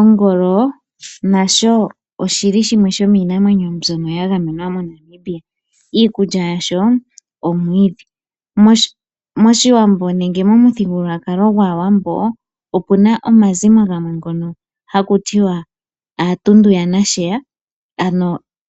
Ongolo nasho oshi li shimwe shominamwenyo myoka ya gamenwa moNamibia, iikulya yasho omwiidhi. Moshiwambo nenge momuthigululwakalo gwaawambo omuna oomazimo gamwe ngoka haku tiwa aatundu yanasheya, ano